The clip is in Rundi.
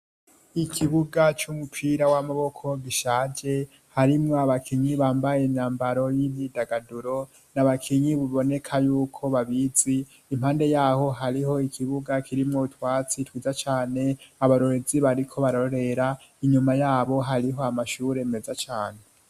Ikibuga c'umupira w'amaboko gishaje harimwo abakinyi bambaye imyambaro y'imyidagaduro n'abakinyi biboneka yuko babizi impande yaho hariho ikibuga kirimwo utwatsi twizaa cane abarorerezi bariko barorera inyuma yabo hariho amashuri meza cane.